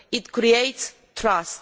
It creates trust.